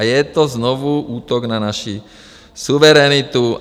A je to znovu útok na naši suverenitu.